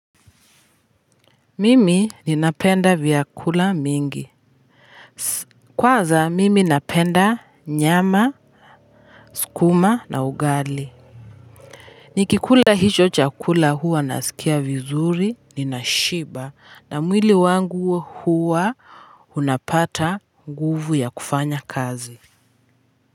Mimi ninapenda vyakula mingi kwanza mimi napenda nyama sukuma na ugali. Nikikula hicho chakula huwa nasikia vizuri ninashiba na mwili wangu huwa unapata nguvu ya kufanya kazi.